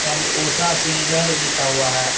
यहां पर ऊषा सिंगर लिखा हुआ है।